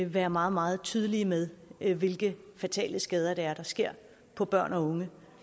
være meget meget tydelige med hvilke fatale skader der sker på børn og unge